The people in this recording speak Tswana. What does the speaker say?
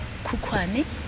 khukhwane